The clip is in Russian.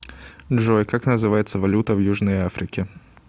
джой как называется валюта в южной африке